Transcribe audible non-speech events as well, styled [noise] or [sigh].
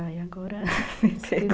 Ai, agora me pegou. [laughs]